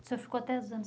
O senhor ficou até os anos